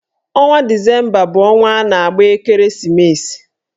Ọnwa disemba bụ ọnwa a na-agba ekereesimesi